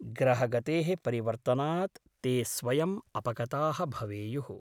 ग्रहगतेः परिवर्तनात् ते स्वयम् अपगताः भवेयुः ।